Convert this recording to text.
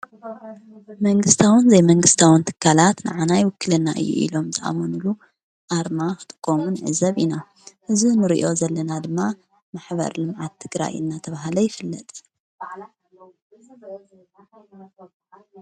መንግሥታውን ዘይመንግሥታውን ትካላት ንዓናይ ይውክልና እዩ። ኢሎም ዝኣሙንሉ ኣርማ ኽጥቆም ንዕዘብ ኢና እዝ ንርእዮ ዘለና ድማ ማኅበር ልምዓት ትግራይ ናተብሃለ ይፍለጥ::